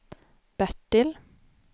Bertil